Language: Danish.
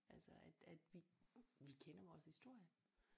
Altså at at vi vi kender vores historie